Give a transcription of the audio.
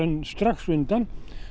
strax undan